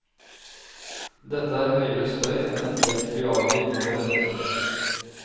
Dette er høyere støy enn et jetfly avgir når det letter.